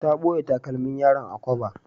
Ta ɓoye takalmin yaron a kwaba.